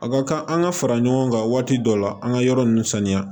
A ka kan an ka fara ɲɔgɔn kan waati dɔw la an ka yɔrɔ nun sanuya